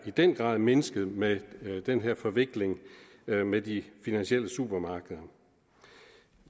i den grad mindsket med den her forvikling med de finansielle supermarkeder